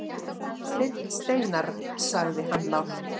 Steinn Steinarr, sagði hann lágt.